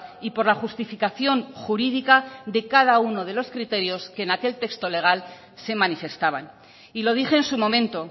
y por la justificación jurídica de cada uno de los criterios que en aquel texto legal se manifestaban y lo dije en su momento